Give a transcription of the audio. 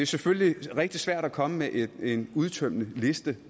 selvfølgelig rigtig svært at komme med en udtømmende liste